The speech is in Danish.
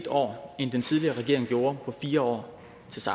år end den tidligere regering gjorde på fire år